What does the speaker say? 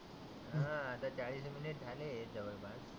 हा आता चाळीस मिनीट झाले याच्यावर बाळ.